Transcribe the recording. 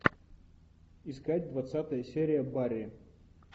искать двадцатая серия барри